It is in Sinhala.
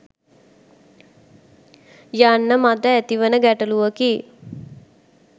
යන්න මට ඇතිවන ගැටළුවකි.